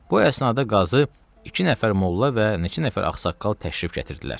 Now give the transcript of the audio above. Bu əsnada qazı iki nəfər molla və neçə nəfər ağsaqqal təşrif gətirdilər.